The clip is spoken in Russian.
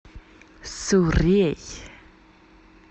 суррей